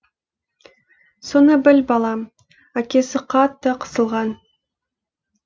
соны біл балам әкесі қатты қысылған